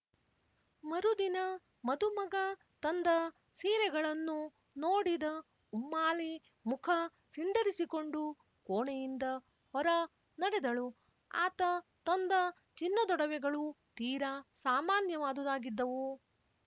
ಮರುದಿನ ಮದುಮಗ ತಂದ ಸೀರೆಗಳನ್ನು ನೋಡಿದ ಉಮ್ಮಾಲಿ ಮುಖ ಸಿಂಡರಿಸಿಕೊಂಡು ಕೋಣೆಯಿಂದ ಹೊರ ನಡೆದಳು ಆತ ತಂದ ಚಿನ್ನದೊಡವೆಗಳೂ ತೀರಾ ಸಾಮಾನ್ಯವಾದುದಾಗಿದ್ದವು